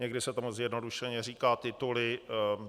Někdy se tomu zjednodušeně říká tituly.